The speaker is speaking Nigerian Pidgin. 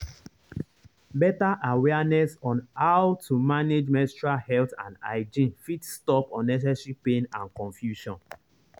better awareness on how how to manage menstual health and hygiene fit stop unnecessary pain and confusion.